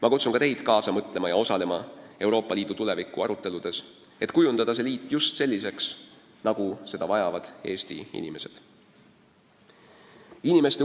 Ma kutsun ka teid kaasa mõtlema ja osalema ka Euroopa Liidu tuleviku aruteludes, et kujundada Euroopa Liit just selliseks, nagu seda vajavad Eesti inimesed.